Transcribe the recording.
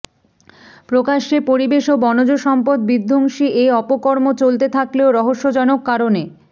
প্রকাশ্যে পরিবেশ ও বনজ সম্পদবিধ্বংসী এ অপকর্ম চলতে থাকলেও রহস্যজনক কারণে